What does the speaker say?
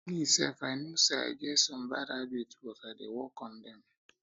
me sef i um know say i get some bad habit but i dey work on dem